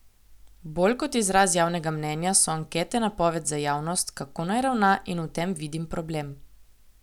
Bolj kot izraz javnega mnenja so ankete napoved za javnost, kako naj ravna, in v tem vidim problem.